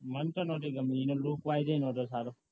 માનતો નથી ગમે એનો lookwise ન તો સારો